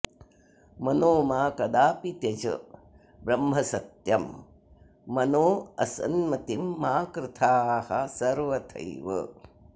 मनो मा कदापि त्यज ब्रह्मसत्यं मनोऽसन्मतिं मा कृथाः सर्वथैव